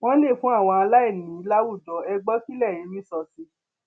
wọn lè fún àwọn aláìní láwùjọ ẹ gbọ kí lẹyìn rí sọ sí i